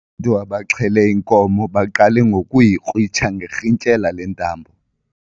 Ubantu abaxhele inkomo baqale ngokuyikrwitsha ngerhintyela lentambo.